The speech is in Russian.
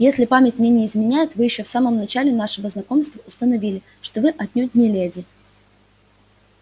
если память мне не изменяет вы ещё в самом начале нашего знакомства установили что вы отнюдь не леди